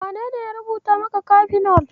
Wanene ya rubuta maka kafinol?